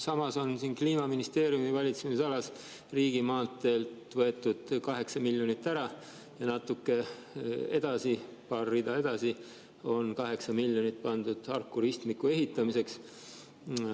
Samas on Kliimaministeeriumi valitsemisalas riigimaanteedelt võetud 8 miljonit ära ja paar rida edasi on 8 miljonit Harku ristmiku ehitamiseks.